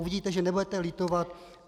Uvidíte, že nebudete litovat.